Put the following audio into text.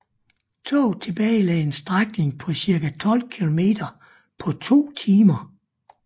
Toget tilbagelagde en strækning på cirka 12 kilometer på to timer